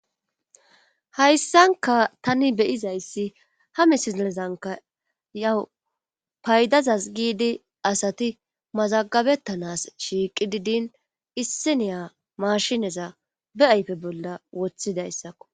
hayssanka tani be'izayssi ha misilezanka yawu paydazas giidi asati mazagabettanas shiiqi didin issiniya maashineza be ayfe bolla woththidayssakko